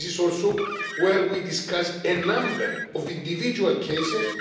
This is also where we discuss a number of individual cases.